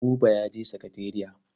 Buba ya je sakatariya.